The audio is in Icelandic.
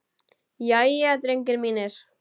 Jæja, drengir mínir!